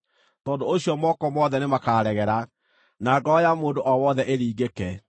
Tondũ ũcio moko mothe nĩmakaregera, na ngoro ya mũndũ o wothe ĩringĩke.